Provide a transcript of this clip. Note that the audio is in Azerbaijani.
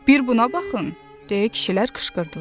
Bircə buna baxın, deyə kişilər qışqırdılar.